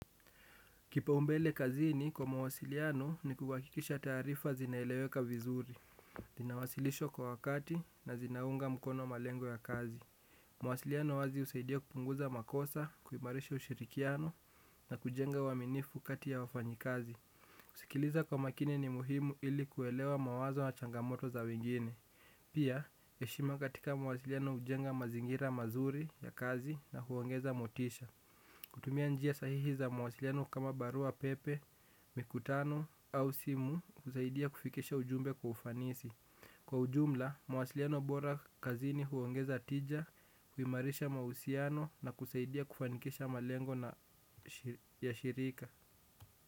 Kipaumbele kazini kwa mawasiliano ni kuhakikisha taarifa zinaeleweka vizuri. Inawasilishwa kwa wakati na zinaunga mkono malengo ya kazi. Mawasiliano wazi husaidia kupunguza makosa, kuimarisha ushirikiano na kujenga uaminifu kati ya wafanyakazi. Kusikiliza kwa makini ni muhimu ili kuelewa mawazo na changamoto za wengine. Pia, heshima katika mwasiliano hujenga mazingira mazuri ya kazi na kuongeza motisha. Kutumia njia sahihi za mawasiliano kama barua pepe, mikutano au simu kusaidia kufikisha ujumbe kwa ufanisi. Kwa ujumla, mawasiliano bora kazini huongeza tija, huimarisha mahusiano na kusaidia kufanikisha malengo na shirika.